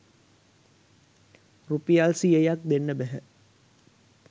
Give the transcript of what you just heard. රුපියල් සියයක්‌ දෙන්න බැහැ